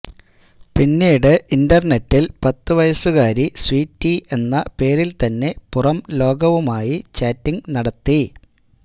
പിന്നീട് ഇന്റര്നെറ്റില് പത്ത് വയസുകാരി സ്വീറ്റി എന്ന പേരില്ത്തന്നെ പുറം ലോകവുമായി ചാറ്റിംഗ് നടത്തി